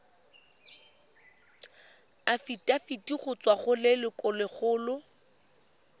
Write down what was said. afitafiti go tswa go lelokolegolo